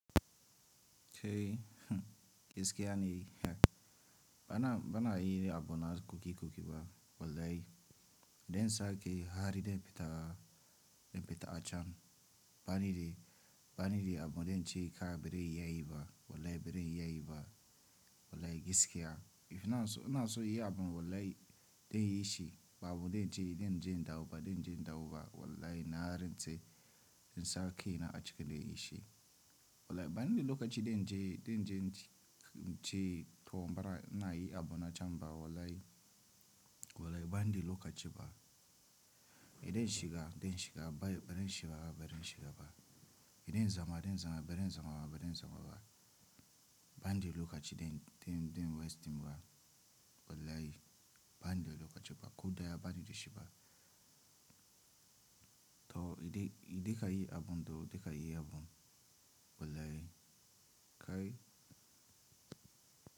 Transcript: Kai, hmm giskeya ne, hm bana, bana yi abuna kuki kuki ba wallahi. Den sake hari den peta, den peta a can. Bani de, bani de abu den ce ka bere yayi ba wallahi bere yayi ba wallahi giskeya. Ina so, ina so yi abu wallahi den yi shi ba abu den ce den je dau ba den je dau ba wallahi na harin ce den sake na a cike den yi shi. Wallahi bani de lokaci den je, den je, je to bara ina yi abuna can ba wallahi, wallahi bani de lokaci ba. Idan shiga, den shiga, bari den shiga ba bari den shiga ba. Idan zama, den zama, bari den zama ba bari den zama ba. Bani de lokaci den, den, den waste ba wallahi bani de lokaci ba. Ko daya bani de shi ba. To idan, idan ka yi abun to da ka yi abun wallahi kai.